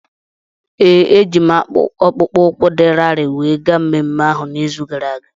Ee, ejiri m akpụkpọ ụkwụ dị larịị wee gaa mmemme ahu n'izu gara aga.